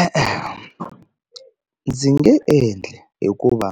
E-e, ndzi nge endli hikuva